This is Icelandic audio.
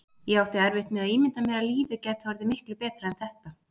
Ég átti erfitt með að ímynda mér að lífið gæti orðið miklu betra en þetta.